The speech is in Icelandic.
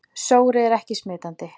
Sóri er ekki smitandi.